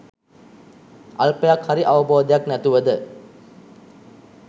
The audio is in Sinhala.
අල්පයක් හරි අවබෝධයක් නැතුවද